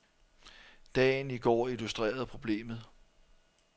Dagen i går illustrerede problemet.